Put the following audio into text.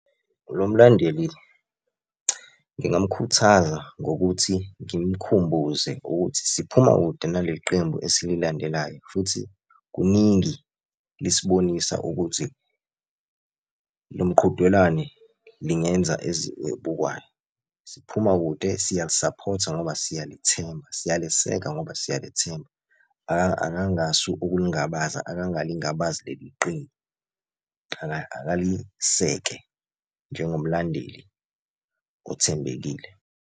Lo mlandeli ngingamkhuthaza ngokuthi ngimkhumbuze ukuthi siphuma kude naleli qembu esililandelayo, futhi kuningi lisibonisa ukuthi lo mqhudelwane lingenza elibukwayo. Siphuma kude siyalisaphotha ngoba siyalithemba siyaliseka ngoba siyalithemba. Akangasu ukulingabaza, akangalingabazi leli qembu akaliseke njengomlandeli othembekile.